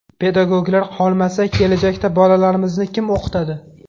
Pedagoglar qolmasa, kelajakda bolalarimizni kim o‘qitadi?